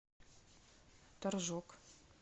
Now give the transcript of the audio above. торжок